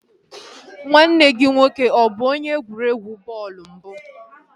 Nwanne gị nwoke abụ onye egwuregwu bọọlụ mbụ?